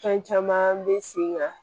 Fɛn caman bɛ sen kan